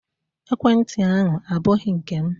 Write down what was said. Ekwenti ahụ abụghị nke m